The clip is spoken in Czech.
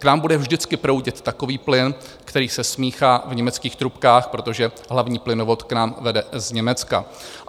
K nám bude vždycky proudit takový plyn, který se smíchá v německých trubkách, protože hlavní plynovod k nám vede z Německa.